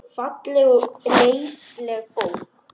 Falleg og læsileg bók.